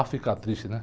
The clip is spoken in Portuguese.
A ficar triste, né?